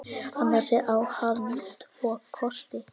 Annars á hann tvo kosti.